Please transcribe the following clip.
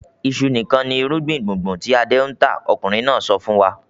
"Iṣu nìkan ni irúgbìn gbùngbùn tí Adé ń tà!" Ọkùnrin náà sọ fún wa.